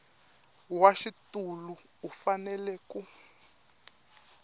wa xitulu u fanele ku